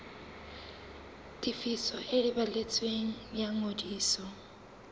tefiso e balletsweng ya ngodiso